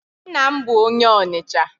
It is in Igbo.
Nna m bụ onye Ọnịcha.